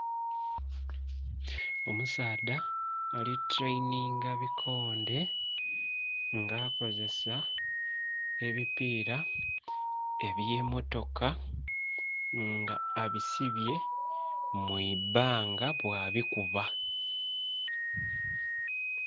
Omusaadha ali tuleyininga bikonde nga akozesa ebipira eby'emmotoka nga abisibye mu ibbanga bwabikuba.